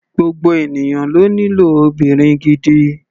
Gbogbo ènìyàn ló nílò obìnrin gidi.